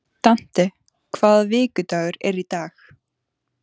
Dante, hvaða vikudagur er í dag?